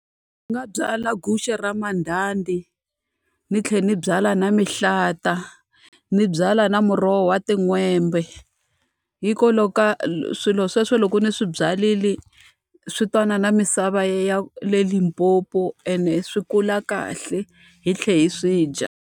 Ni nga byala guxe ra mandhandha ni tlhela ni byala na mihlata, ni byala na muroho wa tin'hwembe. Hikwalaho ka swilo sweswo loko ni swi byarile swi twanana na misava ya le Limpopo ene swi kula kahle, hi tlhe hi swi dya.